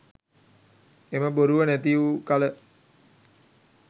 එම බොරුව නැති වූ කළ